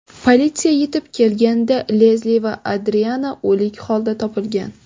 Politsiya yetib kelganida Lesli va Adriana o‘lik hoda topilgan.